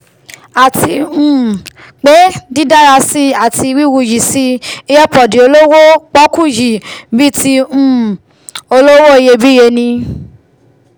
àti um pé dídárasí ati wíwuyìsí earpod olówó pọ́ọ́kú yìí bíi ti um olówó iyebíye ni